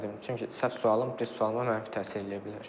Çünki səhv sualım düz sualıma mənfi təsir eləyə bilər.